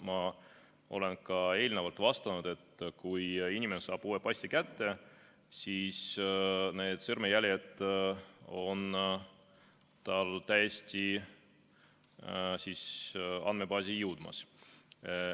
Ma olen ka eelnevalt vastanud, et kui inimene saab uue passi kätte, siis tema sõrmejäljed on andmebaasi jõudmas.